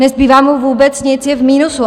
Nezbývá mu vůbec nic, je v minusu.